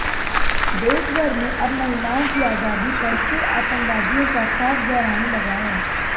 देशभर में अब महिलाओं की आजादी पर फिर आतंकवादियों का खौफ गहराने लगा है